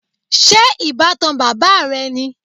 Ṣé ìbátan bàbá rẹ ni?